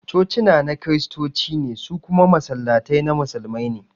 Cocina na Kiristoci ne, su kuma Masallatai na Musulmai ne